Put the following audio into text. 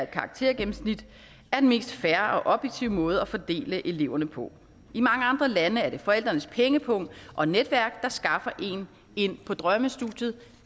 karaktergennemsnit er den mest fair og objektive måde at fordele eleverne på i mange andre lande er det forældrenes pengepung og netværk der skaffer en ind på drømmestudiet